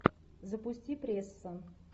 запусти пресса